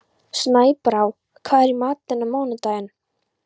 Snæbrá, hvað er í matinn á mánudaginn?